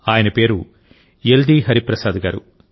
ఆయన పేరు యెల్ది హరిప్రసాద్ గారు